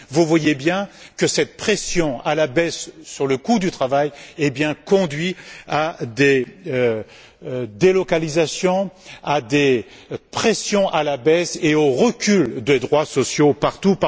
Vous voyez donc bien que cette pression à la baisse sur le coût du travail conduit à des délocalisations, à des pressions à la baisse et au recul des droits sociaux partout.